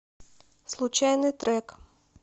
случайный трек